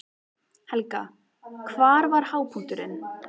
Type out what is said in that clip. Helga: Hver var hápunkturinn?